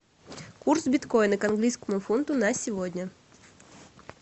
курс биткоина к английскому фунту на сегодня